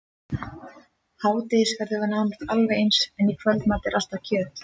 Hádegisverður er nánast alveg eins, en í kvöldmat er alltaf kjöt.